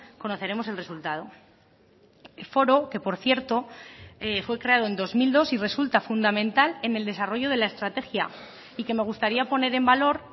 conoceremos el resultado foro que por cierto fue creado en dos mil dos y resulta fundamental en el desarrollo de la estrategia y que me gustaría poner en valor